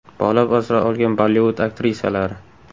Bola asrab olgan Bollivud aktrisalari .